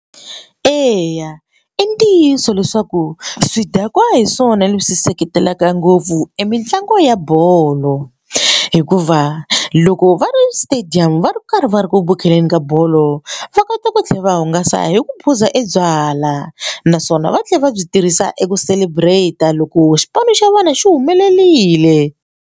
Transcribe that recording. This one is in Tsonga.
Eya i ntiyiso leswaku swidakwa hi swona leswi seketelaka ngopfu i mitlangu ya bolo hikuva loko va ri stadium va ri karhi va ri ku vukeleni ka bolo va kota ku tlhela va hungasa hi ku phuza e byalwa naswona va tlhela va byi tirhisa eku celebrate loko xipano xa vana xi humelerile.